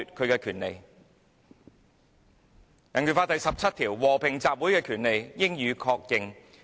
根據香港人權法案第十七條，"和平集會之權利，應予確認。